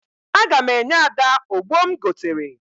Aga m enye Ada ogbo m goteere ya.